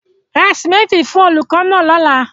Ra sìmẹ́ńtì fún olùkọ́ náà lọ́la.